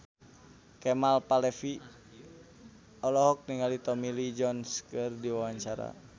Kemal Palevi olohok ningali Tommy Lee Jones keur diwawancara